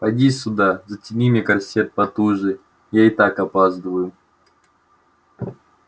поди сюда затяни мне корсет потуже я и так опаздываю